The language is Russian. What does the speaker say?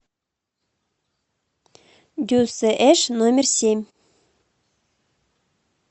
дюсш номер семь